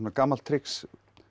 gamalt trix